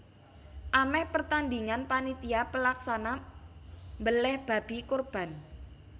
Amèh pertandhingan panitia pelaksana mbelèh babi kurban